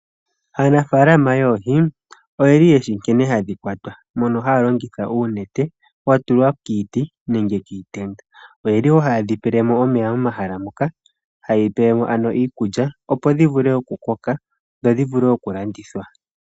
Aanafaalama yoohi oyeshi nkene hadhi kwatwa, ohaya longitha uunete watulwa kiiti nenge kiitenda ohayedhi pele mo omeya momahala moka noshowo iikulya opo dhivule okukoka dho dhivule okulandithwa.